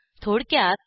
थोडक्यात